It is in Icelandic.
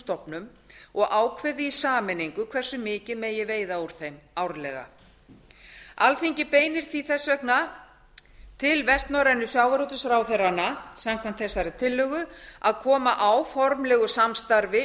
stofnum og ákveði í sameiningu hversu mikið megi veiða úr þeim árlega alþingi beinir því þess vegna til vestnorrænu sjávarútvegsráðherranna samkvæmt þessari tillögu að koma á formlegu samstarfi